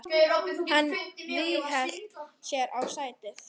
Hún ríghélt sér í sætið.